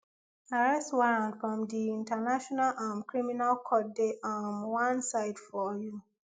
arrest warrant from di international um criminal court dey um one side for you